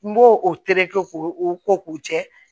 N b'o o tereke k'o o ko k'o jɛ